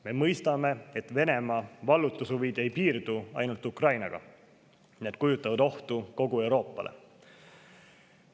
Me mõistame, et Venemaa vallutushuvid ei piirdu ainult Ukrainaga, vaid need kujutavad ohtu kogu Euroopale.